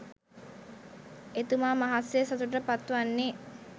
එතුමා මහත් සේ සතුටට පත් වන්නේ